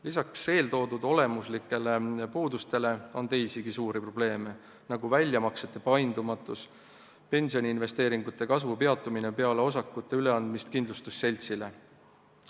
Lisaks eeltoodud olemuslikele puudustele on teisigi suuri probleeme, nagu väljamaksete paindumatus, pensioniinvesteeringute kasvu peatumine peale osakute üleandmist kindlustusseltsile.